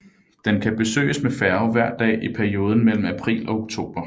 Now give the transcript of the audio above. Den kan besøges med færge hver dag i perioden mellem april og oktober